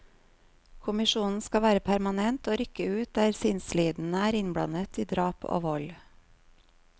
Kommisjonen skal være permanent og rykke ut der sinnslidende er innblandet i drap og vold.